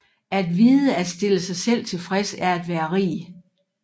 At vide at stille sig selv tilfreds er at være rig